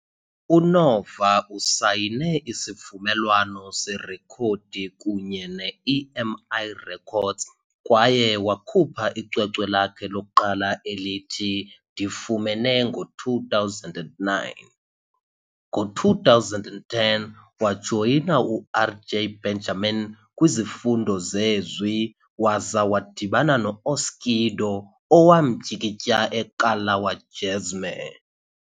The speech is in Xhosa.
UNova usayine isivumelwano serekhodi kunye ne-EMI Records kwaye wakhupha icwecwe lakhe lokuqala elithi Ndimfumene ngo-2009. Ngo-2010, wajoyina uRJ Benjamin kwizifundo zezwi waza wadibana no-Oskido owamtyikitya eKalawa Jazmee.